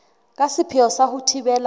ka sepheo sa ho thibela